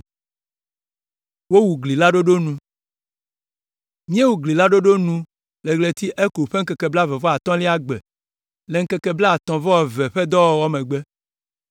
Míewu gli la ɖoɖo nu le ɣleti Elul ƒe ŋkeke blaeve-vɔ-atɔ̃lia gbe le ŋkeke blaatɔ̃ vɔ eve ƒe dɔwɔwɔ megbe.